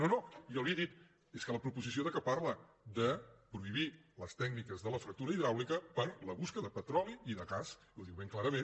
no no jo li he dit és que la proposició parla de prohibir les tècniques de la fractura hidràulica per a la cerca de petroli i de gas ho diu ben clarament